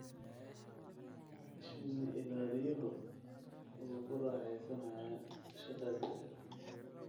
Shinni-ilaaliyehu wuu ku raaxaysanayaa shaqadiisa.